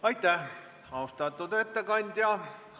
Aitäh, austatud ettekandja!